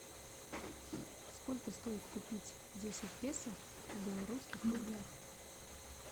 сколько стоит купить десять песо в белорусских рублях